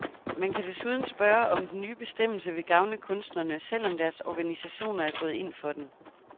Man kan desuden spørge, om den nye bestemmelse vil gavne kunstnerne, selv om deres organisationer er gået ind for den.